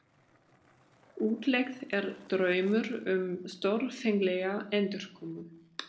Útlegð er draumur um stórfenglega endurkomu.